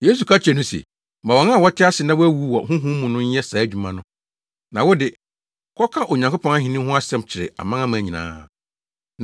Yesu ka kyerɛɛ no se, “Ma wɔn a wɔte ase na wɔawu wɔ honhom mu no nyɛ saa nnwuma no, na wo de, kɔka Onyankopɔn ahenni no ho asɛm kyerɛ amanaman nyinaa.”